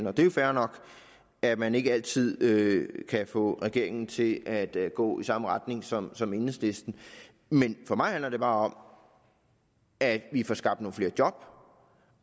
er jo fair nok at man ikke altid kan få regeringen til at at gå i samme retning som som enhedslisten men for mig handler det bare om at vi får skabt nogle flere job